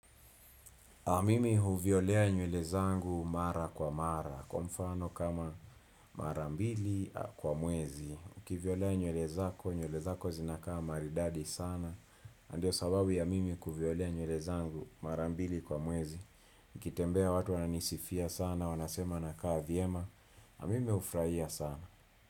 Mimi huviolea nywele zangu mara kwa mara, kwa mfano kama mara mbili kwa mwezi. Ukiviolea nywele zako, nywele zako zinakaa maridadi sana. Na ndio sababu ya mimi kuviolea nywele zangu mara mbili kwa mwezi. Nikitembea watu wananisifia sana, wanasema nakaa vyema. Mimi hufurahia sana.